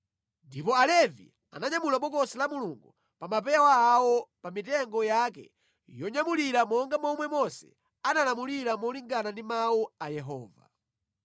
Ndipo Alevi ananyamula Bokosi la Mulungu pa mapewa awo pa mitengo yake yonyamulira monga momwe Mose analamulira molingana ndi mawu a Yehova.